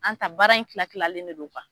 An ta baara in kila kilalen de don